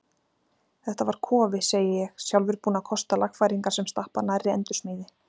Þetta var kofi, segi ég, sjálfur búinn að kosta lagfæringar sem stappa nærri endursmíði.